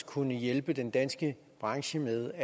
kunne hjælpe den danske branche ved